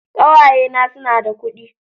Ƙawaye na su na da kudi